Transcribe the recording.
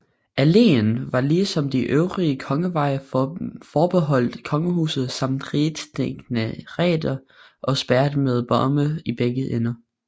Alléen var ligesom de øvrige kongeveje forbeholdt kongehuset samt rigets dignitarer og spærret med bomme i begge ender